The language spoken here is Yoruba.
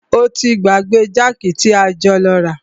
O ti gbàgbé jákì tí a jọ lọ rà.